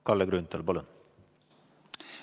Kalle Grünthal, palun!